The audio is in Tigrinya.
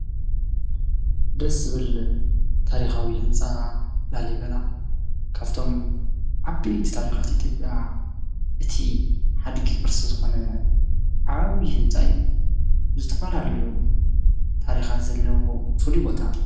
ደስ ዝብል ታሪካዊ ህንፃ ላሊበላ ካብቶም ዓበይቲ ታሪካት ኢትዮጵያ እቲ ሓድጊ ቅርሲ ዝኾነ ዓብዪ ህንፃ እዩ፡፡ ዝተፈላለዩ ታሪኻት ዘለዎ ፍሉይ ቦታ፡፡